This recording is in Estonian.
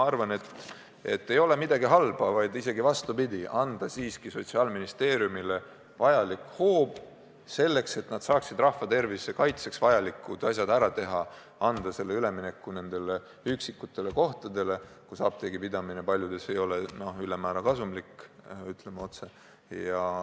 Samas ei sünni midagi halba – hoopis vastupidi –, kui me anname Sotsiaalministeeriumile vajaliku hoova selleks, et nad saaksid rahva tervise kaitseks vajalikud asjad ära teha, kui me võimaldame üleminekuaja nendes üksikutes kohtades, kus apteegipidamine ei ole kuigi kasumlik, ütleme otse.